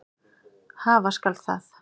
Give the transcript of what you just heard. Hafa skal það.